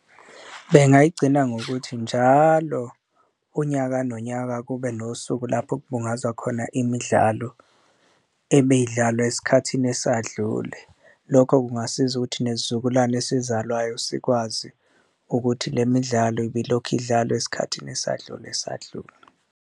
Bengayigcina ngokuthi njalo unyaka nonyaka kube nosuku lapho okubungazwa khona imidlalo ebeyidlalwa esikhathini esadlule, lokho kungasiza ukuthi nesizukulwane esizalwayo sikwazi ukuthi le midlalo ibilokhu idlalwa esikhathini esadlule esadlule.